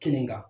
Kelen kan